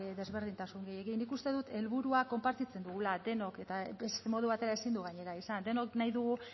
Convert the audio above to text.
desberdintasunik nik uste dut helburua konpartitzen dugula denok eta beste modu batera ezin du gainera izan denok nahi dugu